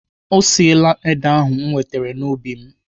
Ọ siela ede ahụ m wetere n'ubi m.